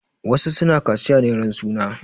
Wasu su na kaciya ne ran suna.